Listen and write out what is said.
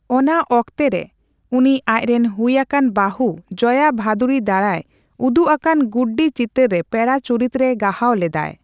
ᱚᱱᱟ ᱚᱠᱛᱮᱨᱮ, ᱩᱱᱤ ᱟᱪᱨᱮᱱ ᱦᱩᱭ ᱟᱠᱟᱱ ᱵᱟᱹᱦᱩ ᱡᱚᱭᱟ ᱵᱷᱟᱹᱫᱩᱲᱤ ᱫᱟᱨᱟᱭ ᱩᱫᱩᱜ ᱟᱠᱟᱱ 'ᱜᱩᱰᱰᱤ' ᱪᱤᱛᱟᱹᱨ ᱨᱮ ᱯᱮᱲᱟ ᱪᱩᱨᱤᱛᱨᱮ ᱜᱟᱦᱟᱣ ᱞᱮᱫᱟᱭ ᱾